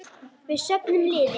Við söfnum liði.